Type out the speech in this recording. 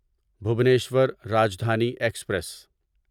Bhubaneswar Rajdhani express